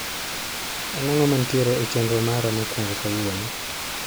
En ang'o mantiere e chenro mara mokwongo kawuono